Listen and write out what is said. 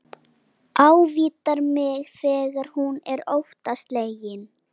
Ávítar mig þegar hún er óttaslegin.